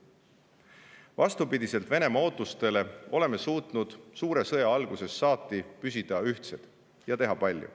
Vastupidiselt Venemaa ootustele oleme suutnud suure sõja algusest saati püsida ühtsed ja teha palju.